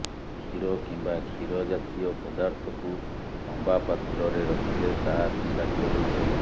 କ୍ଷୀର କିମ୍ବା କ୍ଷୀର ଜାତୀୟ ପଦାର୍ଥକୁ ତମ୍ବା ପାତ୍ରରେ ରଖିଲେ ତାହା ବିଷାକ୍ତ ହୋଇଯାଏ